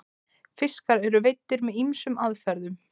fiskar eru veiddir með ýmsum aðferðum